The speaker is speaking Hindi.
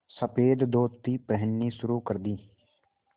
सफ़ेद धोती पहननी शुरू कर दी